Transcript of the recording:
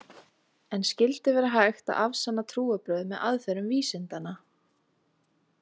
En skyldi vera hægt að afsanna trúarbrögð með aðferðum vísindanna?